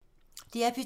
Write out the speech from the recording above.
DR P2